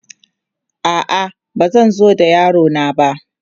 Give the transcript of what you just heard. A'a, ba zan zo da yaro na ba.